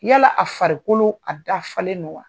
Yala a farikolo a dafalen don wa ?